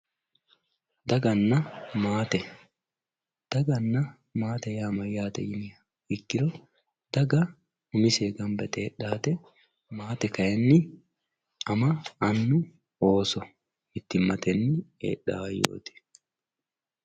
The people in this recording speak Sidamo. daganna maate daganna maate yaa mayyaate yiniha ikkiro daga umiseyii ganba yite heedhawoota maate kayiinni ama annu ooso mittimmatenni heedhawoo hayyooti.